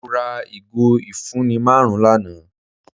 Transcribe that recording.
Mọ̀ rà igo ifunni màrùn lánà.